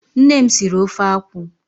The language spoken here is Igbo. Nne m siri ofe akwụ.